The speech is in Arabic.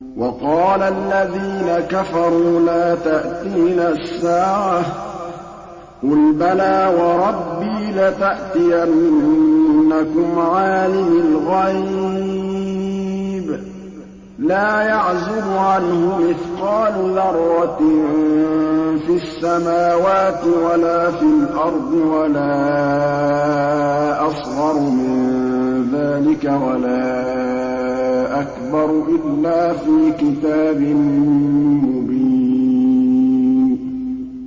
وَقَالَ الَّذِينَ كَفَرُوا لَا تَأْتِينَا السَّاعَةُ ۖ قُلْ بَلَىٰ وَرَبِّي لَتَأْتِيَنَّكُمْ عَالِمِ الْغَيْبِ ۖ لَا يَعْزُبُ عَنْهُ مِثْقَالُ ذَرَّةٍ فِي السَّمَاوَاتِ وَلَا فِي الْأَرْضِ وَلَا أَصْغَرُ مِن ذَٰلِكَ وَلَا أَكْبَرُ إِلَّا فِي كِتَابٍ مُّبِينٍ